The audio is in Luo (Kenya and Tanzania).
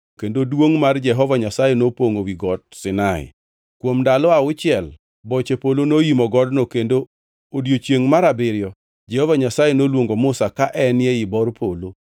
kendo duongʼ mar Jehova Nyasaye nopongʼo wi Got Sinai. Kuom ndalo auchiel boche polo noimo godno kendo e odiechiengʼ mar abiriyo Jehova Nyasaye noluongo Musa ka en ei bor polo.